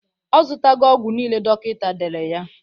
Ọ zụtago ọgwụ nile dọkịta dere ya.